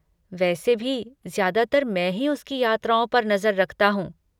वैसे भी, ज्यादातर मैं ही उसकी यात्राओं पर नजर रखता हूँ।